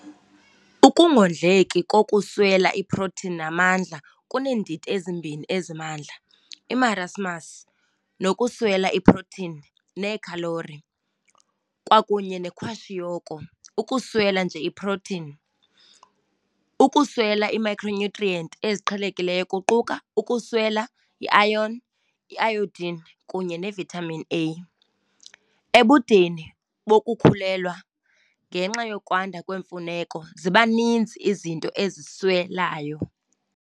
Ukungondleki kokuswela iprotini namandla kuneendidi ezimbini ezimandla - imarasmus, nokuswela iprotini neekhalori, kwakunye nekwashiyoko, ukuswela nje iprotini. Ukuswela iimicronutrient eziqhelekileyo kuquka - ukuswela iayon, iayodin kunye ivitamin A. Ebudeni bokukhulelwa, ngenxa yokwanda kwemfuneko, ziba ninzi izinto oziswelayo.